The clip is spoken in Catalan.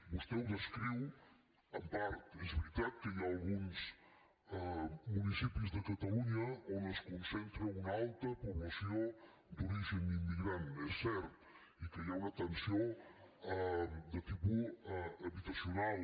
vostè ho descriu en part és veritat que hi ha alguns municipis de catalunya on es concentra una alta població d’origen immigrant és cert i que hi ha una tensió de tipus habitacional